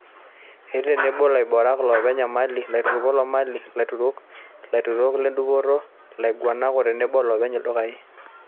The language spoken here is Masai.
Etii tenebo laiboorok, ilopony imali, lautarok loomali, ilautarok, lautarok ledupoto, ilaiguanak o tenebo ilopeny ildukai.